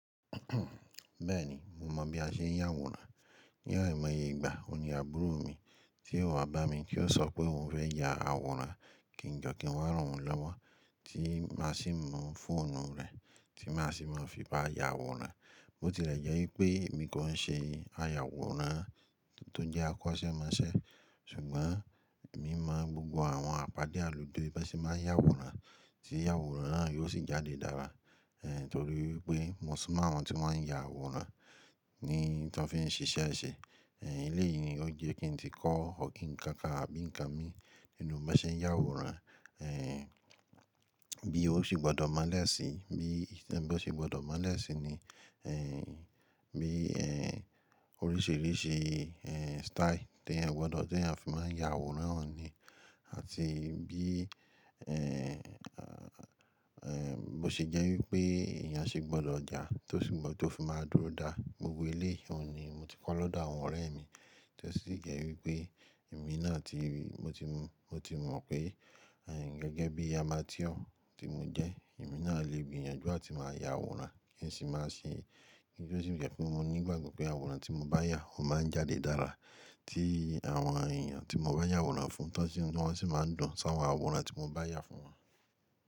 Bẹ́ẹ̀ni mo mọ̀ bí a ṣe ń yà àwòrán. Ní ẹ̀mọ́ye ìgbà ó ní àbúrò mi tí ó wá bá mi kí ó sọ pé òun fẹ́ ya àwòrán kí n jọ́ kí n wá ràn án lọ́wọ́. Tí má sì mú fóònù rẹ̀ tí má sì mọ̀ fi bá ya àwòrán. Ó ti lè jẹ́ wípé èmi kò ń ṣe ayàwòrán tó jẹ́ akọ́ṣẹ́mọṣẹ́ ṣùgbọ́n èmi mọ̀ gbogbo àwọn àpadé àlùde bí wọ́n máa ń yà àwòrán tí àwòrán náà yóò sì jáde dára torí pé mo sì mọ̀ àwọn tí wọ́n ń ya àwòrán ní tí wọ́n fi ń ṣiṣẹ́ ṣe. Eléyìí ni o jẹ́ kí n tí kọ́ ọ̀kín nǹkan kan àbí ǹkan mi nínú bí mo ṣe ń yà àwòrán bí ó ṣe gbọ́dọ̀ máa n da síi, nií bi o ṣe gbọ́dọ̀ máa n da síi ni oríṣìíríṣìí style tí èèyàn gbọ́dọ̀ tí èèyàn fi máa ń ya àwòrán wọ̀nyí ni àti bí bo ṣe jẹ́ wípé èèyàn ṣe gbọ́dọ̀ já tó sì gbo, to fi máa dúró dá gbogbo eléyìí òun ni mo ti kọ́ lọ́dọ̀ àwọn ọ̀rẹ́ mi. To sì jẹ́ wípé èmi náà ti mo ti, mo ti mọ̀ pé gẹ́gẹ́ bí amáteur tí mo jẹ́ èmi náà lè gbìyànjú àti máa ya àwòrán kí sì n má ṣe bi o sì jẹ́ pé mo ní ìgbàgbọ́ pé àwòrán tí mo bá yà ó máa ń jáde dáadáa tí àwọn èèyàn tí mo bá yà àwòrán fún, tó sì inú wọ́n sì máa ń dùn sí àwọn àwòrán tí mo bá yà fún wọn.